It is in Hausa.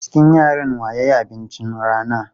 A cikin yaran wa ya yi abincin rana?